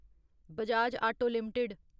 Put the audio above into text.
Bajaj auto limited